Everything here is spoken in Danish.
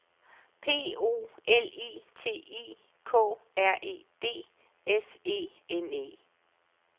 P O L I T I K R E D S E N E